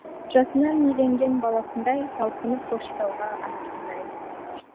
жасынан иеленген баласындай талпынып көкшетауға анасындай